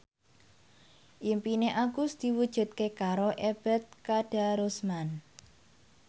impine Agus diwujudke karo Ebet Kadarusman